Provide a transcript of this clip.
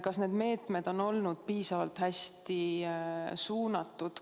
Kas need meetmed on olnud piisavalt hästi suunatud?